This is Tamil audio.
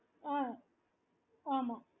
okay